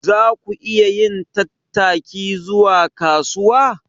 Za ku iya yin tattaki zuwa kasuwa?